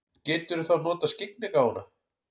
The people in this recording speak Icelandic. Geturðu þá notað skyggnigáfuna?